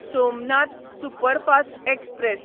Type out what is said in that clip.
Somnath superfast express